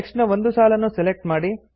text ನ ಒಂದು ಸಾಲನ್ನು ಸೆಲೆಕ್ಟ್ ಮಾಡಿ